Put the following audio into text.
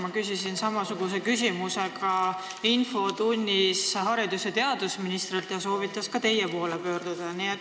Ma küsisin samasuguse küsimuse infotunnis ka haridus- ja teadusministrilt ning tema soovitas teie poole pöörduda.